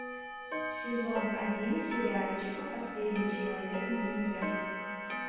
сезон один сериальчика последний человек на земле